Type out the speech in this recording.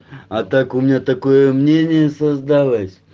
а так у меня такое мнение создалось